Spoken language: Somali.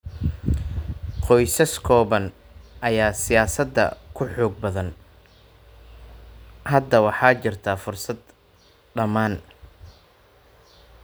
Qoysas kooban ayaa siyaasadda ku xoog badnaa. Hadda waxaa jirta fursad dhammaan.